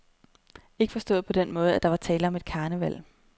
Ikke forstået på den måde, at der er tale om et karneval.